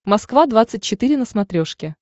москва двадцать четыре на смотрешке